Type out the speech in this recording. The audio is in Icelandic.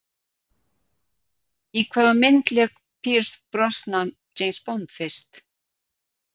Í hvaða mynd lék Pierce Brosnan James Bond fyrst?